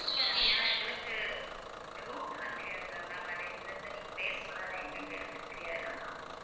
next வந்து ஏன எங்களுக்கு route எல்லாம் தெரியாதுல்ல ma'am எங்கெங்க இருக்குன்னு தெரியாதுல்ல ma'am